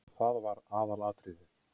Það var aðalatriðið.